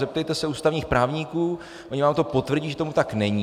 Zeptejte se ústavních právníků, oni vám to potvrdí, že tomu tak není.